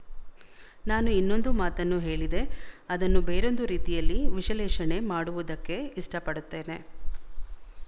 ನಾನು ಇನ್ನೊಂದು ಮಾತನ್ನು ಹೇಳಿದೆ ಅದನ್ನು ಬೇರೊಂದು ರೀತಿಯಲ್ಲಿ ವಿಶಲೇಶಣೆ ಮಾಡುವುದಕ್ಕೆ ಇಷ್ಟಪಡುತ್ತೇನೆ